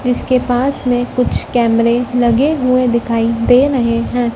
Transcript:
जिसके पास में कुछ कैमरे लगे हुए दिखाई दे रहे हैं।